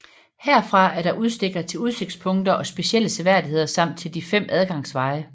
Herfra er der udstikkere til udsigtspunkter og specielle seværdigheder samt til de 5 adgangsveje